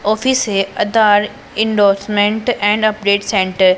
office है Aadhaar endorsement and update centre --